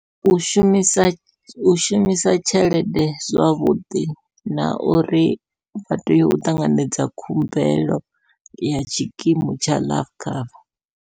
U shumisa u shumisa tshelede zwavhuḓi, na uri vha tea u ṱanganedza khumbelo ya tshikimu tsha life cover.